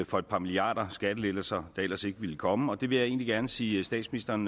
for et par milliarder skattelettelser der ellers ikke ville komme det vil jeg egentlig gerne sige statsministeren